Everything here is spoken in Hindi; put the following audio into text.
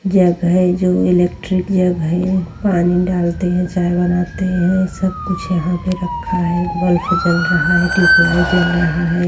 जग है जो इलेक्ट्रिक जग है। पानी डालते है चाय बनाते है। सब कुछ यहाँ पे रखा है। बल्ब जल रहा है। ट्यूबलाइट जल रहा है।